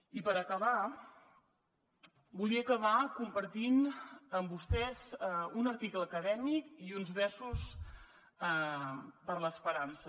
i per acabar volia acabar compartint amb vostès un article acadèmic i uns versos per a l’esperança